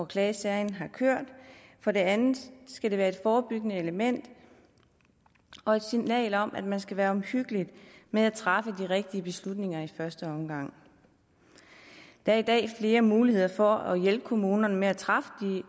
klagesagen har kørt for det andet skal det være et forebyggende element og et signal om at man skal være omhyggelig med at træffe de rigtige beslutninger i første omgang der er i dag flere muligheder for at hjælpe kommunerne med at træffe